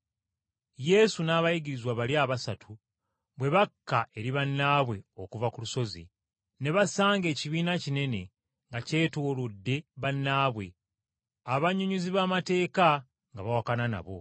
Yesu n’abayigirizwa bali abasatu bwe bakka eri bannaabwe okuva ku lusozi, ne basanga ekibiina kinene nga kyetoolodde bannaabwe, abannyonnyozi b’amateeka nga bawakana nabo.